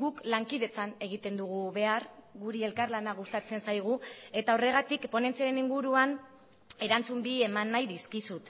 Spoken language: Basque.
guk lankidetzan egiten dugu behar guri elkarlana gustatzen zaigu eta horregatik ponentziaren inguruan erantzun bi eman nahi dizkizut